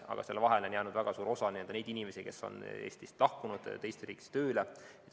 Aga on väga suur hulk neid inimesi, kes on Eestist lahkunud teise riiki tööle.